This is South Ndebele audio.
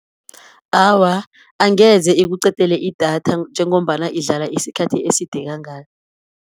Awa, angeze ikuqedele idatha, njengombana idlala isikhathi eside kangaka.